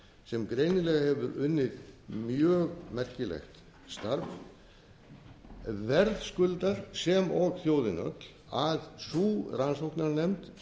sem greinilega hefur unnið mjög merkilegt starf verðskuldar sem og þjóðin öll að sú rannsóknarnefnd